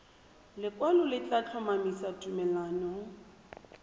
lekwalo le tla tlhomamisa tumalano